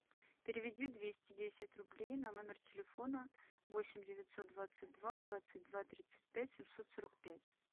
переведи двести десять рублей на номер телефона восемь девятьсот двадцать два двадцать два тридцать пять семьсот сорок пять